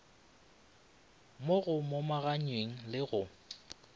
mo go momaganyeng le go